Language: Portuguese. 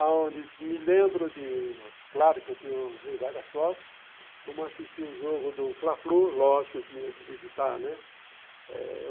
Aonde me lembro de, claro que eu tenho várias fotos, como eu assisti o jogo do Fla-Flu, lógico, eu tinha que visitar, né? eh